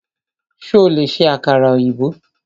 Ṣo lè ṣe àkàrà ọ̀yìnbó?